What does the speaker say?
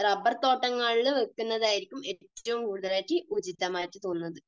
റബർതോട്ടങ്ങളിൽ വയ്ക്കുന്നതായിരിക്കും ഏറ്റവും കൂടുതൽ ആയിട്ട് ഉചിതമായി തോന്നുന്നത്.